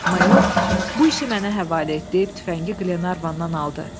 Mayor bu işi mənə həvalə et deyib tüfəngi Qlenarvandan aldı.